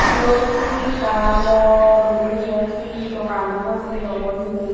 eyot he ekan bor gurine eyot he dugan obo nahi obo hejeni.